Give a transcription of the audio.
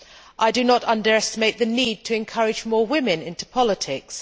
I do not underestimate the need to encourage more women into politics.